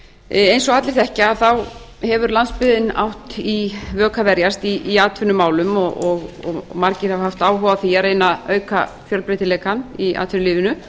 eins og allir þekkja hefur landsbyggðin átt í vök að verjast í atvinnumálum og margir hafa haft áhuga á því að reyna að auka fjölbreytileikann í atvinnulífinu